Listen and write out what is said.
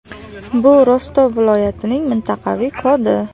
Bu Rostov viloyatining mintaqaviy kodi.